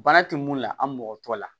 Bana tɛ mun la an mɔgɔ tɔ la